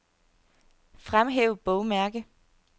Fremhæv bogmærke.